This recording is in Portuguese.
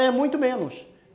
É, muito menos.